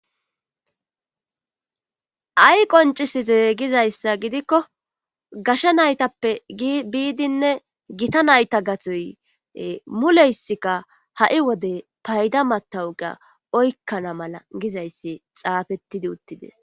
ay qoncisize gizayssa gidikko gasha naytappe biidinne gita nayta gatoy muleysikka ha7i wode payda matawuga oykkana mala gizayssi xaafettidi uttides